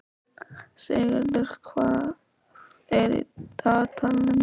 Sigurður, hvað er í dagatalinu mínu í dag?